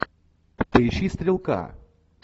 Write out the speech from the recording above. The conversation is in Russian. поищи стрелка